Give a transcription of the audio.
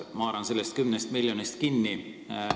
Ma haaran sellest 10 miljonist kinni.